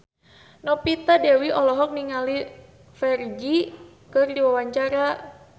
Novita Dewi olohok ningali Ferdge keur diwawancara